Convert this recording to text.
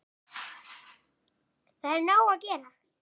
Það er nóg að gera!